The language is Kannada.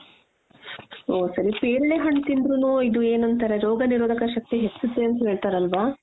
ಓ ಸರಿ ಪೇರಲೆಹಣ್ಣು ತಿಂದ್ರುನು ಇದು ಏನಂತಾರೆ ರೋಗನಿರೋಧಕ ಶಕ್ತಿ ಹೆಚ್ಚುತ್ತೇ ಅಂತ ಹೇಳ್ತಾರಲ್ವಾ ?